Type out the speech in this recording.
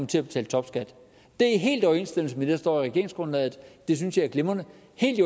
til at betale topskat det er helt i overensstemmelse med det der står i regeringsgrundlaget det synes jeg er glimrende